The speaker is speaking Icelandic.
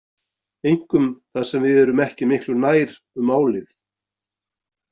Einkum þar sem við erum ekki miklu nær um málið.